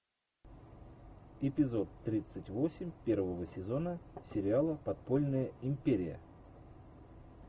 эпизод тридцать восемь первого сезона сериала подпольная империя